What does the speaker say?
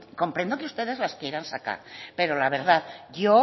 comprendo que ustedes las quieran sacar pero la verdad yo